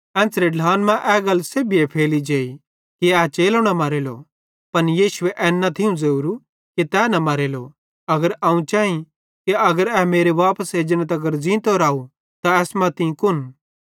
एन्च़रे ढ्लान मां ए गल सेभीए फैली जेई कि ए चेलो न मरेलो पन यीशुए एन न थियूं ज़ोरू कि तै न मरेलो अगर अवं चैई कि अगर मेरे वापस एजने तगर ज़ींतो राव त एसमां तीं कुन